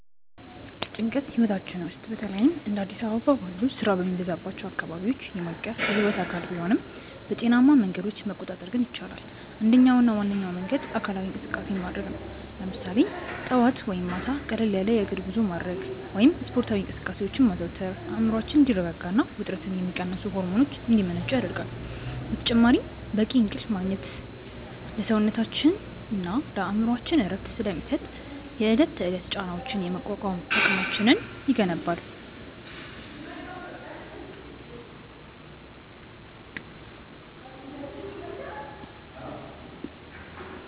ጭንቀት ህይወታችን ውስጥ በተለይም እንደ አዲስ አበባ ባሉ ስራ በሚበዛባቸው አካባቢዎች የማይቀር የህይወት አካል ቢሆንም፣ በጤናማ መንገዶች መቆጣጠር ግን ይቻላል። አንደኛውና ዋነኛው መንገድ አካላዊ እንቅስቃሴ ማድረግ ነው፤ ለምሳሌ ጠዋት ወይም ማታ ቀለል ያለ የእግር ጉዞ ማድረግ ወይም ስፖርታዊ እንቅስቃሴዎችን ማዘውተር አእምሮአችን እንዲረጋጋና ውጥረትን የሚቀንሱ ሆርሞኖች እንዲመነጩ ይረዳል። በተጨማሪም በቂ እንቅልፍ ማግኘት ለሰውነታችንና ለአእምሮአችን እረፍት ስለሚሰጥ፣ የዕለት ተዕለት ጫናዎችን የመቋቋም አቅማችንን ይገነባል።